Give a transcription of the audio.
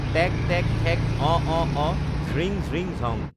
take টেক্ ঠেক্ অঁ অঁ অঁ ঝ্ৰিং ঝিং ঝং